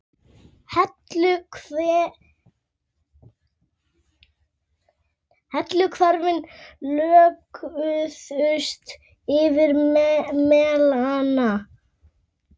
Heilu hverfin lögðust yfir melana.